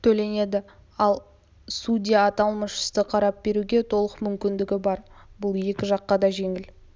төленеді ал судья аталмыш істі қарап беруге толық мүмкіндігі бар бұл екі жаққа да жеңіл